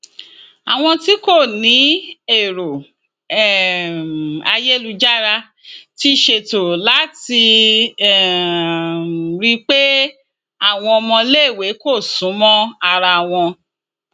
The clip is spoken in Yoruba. àwọn tí kò ní èrò um ayélujára ti ṣètò láti um rí i pé àwọn ọmọléèwé kò sún mọ ara wọn